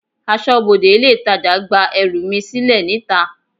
Aṣọbode ilé itàjà gba ẹrù mi sílè níta.